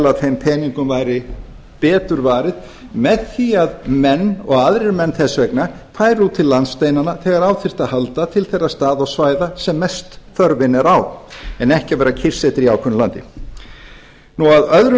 að þeim peningum væri betur varið með því að menn og aðrir menn þess vegna færu út fyrir landsteinana þegar á þyrfti að halda til þeirra staða og svæða þar sem mest þörfin er á en ekki verða kyrrsettir í ákveðnu landi en að öðru